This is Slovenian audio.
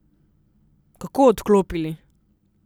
Kako odklopili?